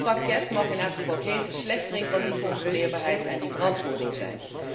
Dit pakket mag in elk geval geen verslechtering van die controleerbaarheid en verantwoording zijn.